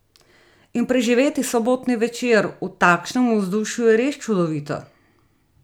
In preživeti sobotni večer v takšnem vzdušju je res čudovito!